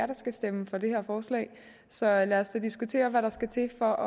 der skal stemme for det her forslag så lad os da diskutere hvad der skal til for